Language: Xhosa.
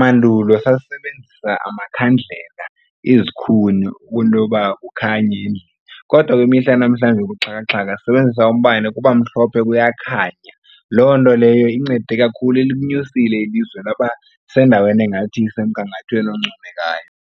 Mandulo sasisebenzisa amakhandlela, izikhuni kwinto yoba kukhanye endlini. Kodwa kwimihla yanamhlanje yobuxhakaxhaka sisebenzisa umbane kuba mhlophe kuyakhanya. Loo nto leyo incede kakhulu ilinyusile ilizwe laba sendaweni engathi isemgangathweni oncomekayo.